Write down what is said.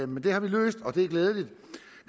men det har vi løst og det er glædeligt